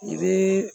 I bɛ